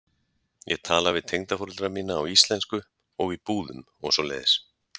Ég tala við tengdaforeldra mína á íslensku og í búðum og svoleiðis.